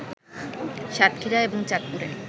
সাতক্ষীরা এবং চাঁদপুরে